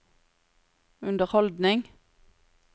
underholdning